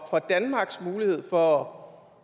danmarks mulighed for